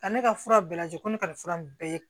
Ka ne ka fura bɛɛ lajɛ ko ne ka nin fura in bɛɛ